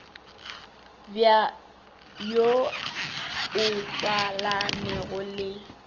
bj wo o tswalanego le